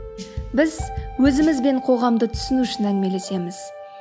біз өзіміз бен қоғамды түсіну үшін әңгімелесеміз